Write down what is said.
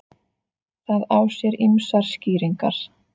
Það á sér ýmsar skýringar.